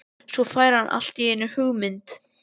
Svo fær hann allt í einu hugmynd.